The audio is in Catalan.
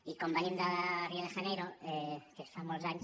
i com venim de rio de janeiro que fa molts anys